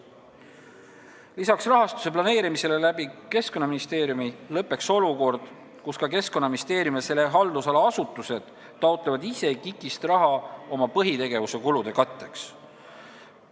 Lisaks lõppeks rahastuse planeerimisega Keskkonnaministeeriumi kaudu olukord, kus ka Keskkonnaministeerium ja selle haldusala asutused taotlevad ise KIK-ist raha oma põhitegevuse kulude katteks.